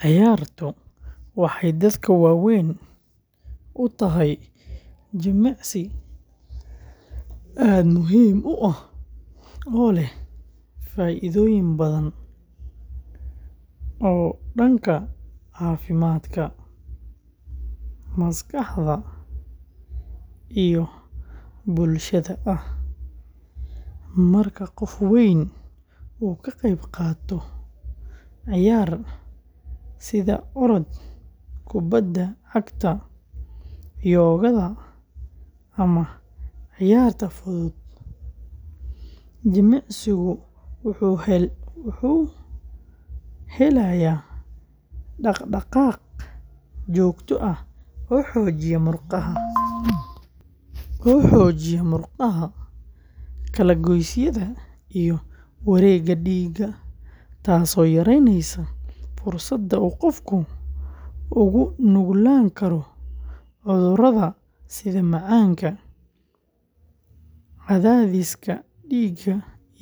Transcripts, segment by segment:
Ciyaartu waxay dadka waaweyn u tahay jimicsi aad muhiim u ah oo leh faa’iidooyin badan oo dhanka caafimaadka, maskaxda, iyo bulshada ah; marka qof weyn uu ka qayb qaato ciyaar, sida orod, kubbadda cagta, yoga, ama ciyaaraha fudud, jirkiisu wuxuu helayaa dhaqdhaqaaq joogto ah oo xoojiya murqaha, kala-goysyada, iyo wareegga dhiigga, taasoo yareyneysa fursadda uu qofka ugu nuglaan karo cudurrada sida macaanka, cadaadiska dhiigga,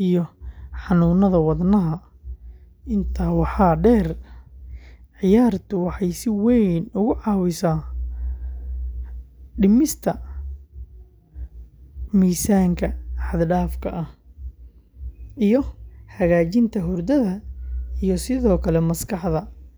iyo xanuunada wadnaha; intaa waxaa dheer, ciyaartu waxay si weyn uga caawisaa dhimista miisaanka xad-dhaafka ah iyo hagaajinta hurdada, iyadoo sidoo kale maskaxda.